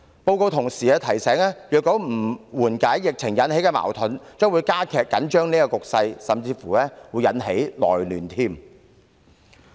報告同時提醒，如不緩解疫情引起的矛盾，將會加劇緊張局勢，甚至會引起內亂。